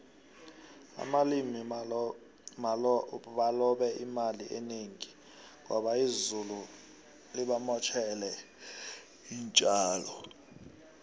abalimi balobe imali enengi ngoba izulu libamotjele intjalo